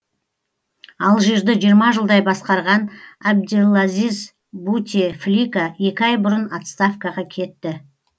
алжирді жиырма жылдай басқарған абделазиз бутефлика екі ай бұрын отставкаға кетті